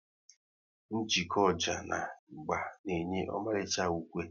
Njeko ọjà na ịgba na enye ọmalicha ukwe